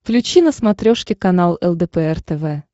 включи на смотрешке канал лдпр тв